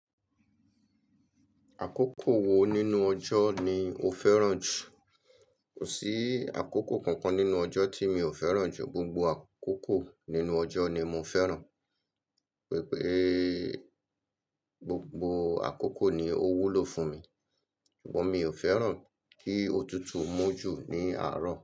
Àkókò wo nínú ọjọ́ ni o fẹ́ràn jù? Kò sí àkókò kankan nínú ọjọ́ tí mi ò fẹ́ràn jù, gbogbo àkókò nínú ọjọ́ ni mo fẹ́ràn, pé pééé gbogbo àkókò ni ó wúlò fún mi, ṣùgbọ́n mi ò fẹ́ràn kí òtútù mú jù ní àárò.